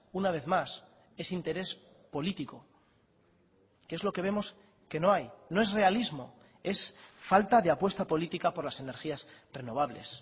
una vez más es interés político que es lo que vemos que no hay no es realismo es falta de apuesta política por las energías renovables